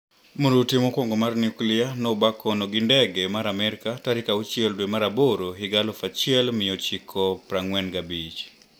Mrutu mokwongo mar nuklia noba kono gi ndege mar Amerka tarik auchiel dwe mar aboro higa aluf achiel miochiko prang`wen gabich.